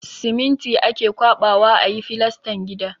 Siminti ake ƙwaɓawa a yi filastan gida.